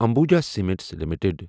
Ambuja cements limited